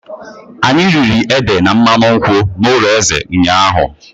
Anyị riri ede na mmanụ nkwụ n'ụlọ eze ụnyahụ.